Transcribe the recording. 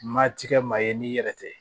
Ma tiga maa ye n'i yɛrɛ tɛ